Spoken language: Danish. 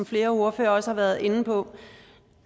flere ordførere også har været inde på